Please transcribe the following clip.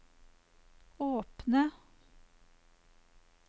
åpne